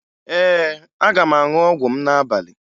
Ee, aga m aṅụ ọgwụ m n'abalị